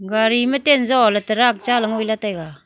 gari ma ten jo le tarak cha ley ngoi lah taiga.